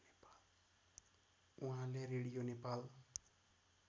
उहाँले रेडियो नेपाल